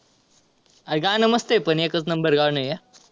गाणं मस्त आहे पण एकच number गाणं आहे हा.